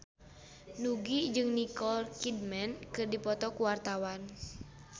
Nugie jeung Nicole Kidman keur dipoto ku wartawan